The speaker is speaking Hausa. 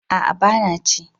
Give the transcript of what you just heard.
A'a ba na ci